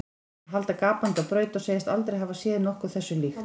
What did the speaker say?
Og halda gapandi á braut og segjast aldrei hafa séð nokkuð þessu líkt.